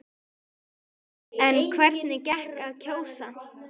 En hvernig gekk að kjósa?